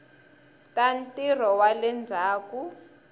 ta ntirho wa le ndzhaku